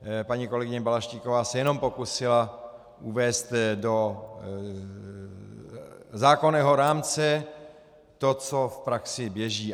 Paní kolegyně Balaštíková se jenom pokusila uvést do zákonného rámce to, co v praxi běží.